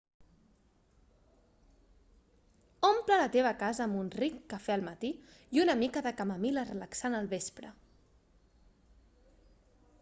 omple la teva casa amb un ric cafè al matí i una mica de camamil·la relaxant al vespre